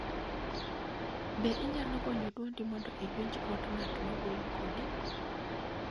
Be inyalo gonyo dwondi mondo iwinj dwond ng'at ma wuoyo kodi?